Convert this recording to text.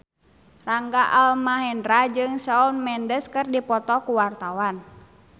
Rangga Almahendra jeung Shawn Mendes keur dipoto ku wartawan